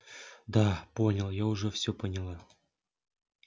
да поняла я уже все поняла